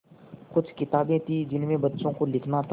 कुछ किताबें थीं जिनमें बच्चों को लिखना था